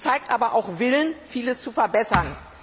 Sie zeigt aber auch Willen, vieles zu verbessern.